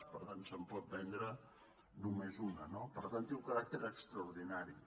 per tant se’n pot vendre només una no per tant té un caràcter extraordinari